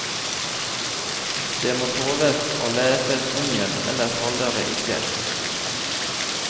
Det må tåles å leses om igjen, ellers holder det ikke.